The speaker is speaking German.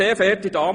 analog einst mit